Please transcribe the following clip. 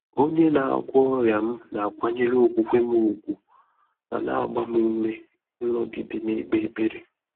Ọ́nyé nà-àgwọ́ ọ́rị́à m nà-àkwànyèré ókwúkwé m ùgwù mà nà-àgbá m úmé ị́nọ́gídé nà-ékpé ékpèré.